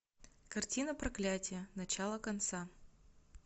картина проклятие начало конца